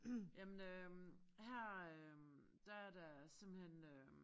Jamen øh her øh der er der simpelthen øh